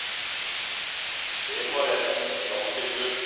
Det har retten lagt til grunn.